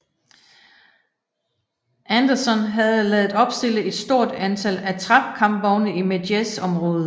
Anderson havde ladet opstille et stort antal attrap kampvogne i Medjez området